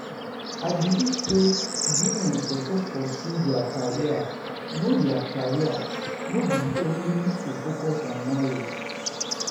I believe sey women suppose pursue their career know dia career no be only to focus on marriage.